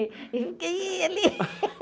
E fiquei ali.